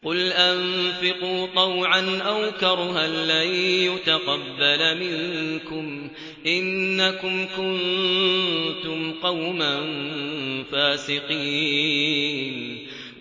قُلْ أَنفِقُوا طَوْعًا أَوْ كَرْهًا لَّن يُتَقَبَّلَ مِنكُمْ ۖ إِنَّكُمْ كُنتُمْ قَوْمًا فَاسِقِينَ